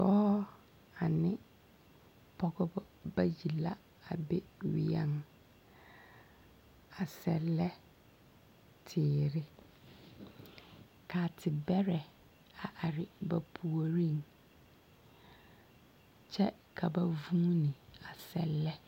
Dͻͻ ane pͻgebͻ bayi la a be weԑŋ, a sԑllԑ teere, ka a tebԑrԑ a are ba puoriŋ kyԑ ka vuuni a sԑllԑ.